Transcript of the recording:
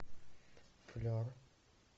флер